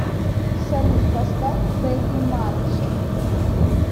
салют поставь пегги марч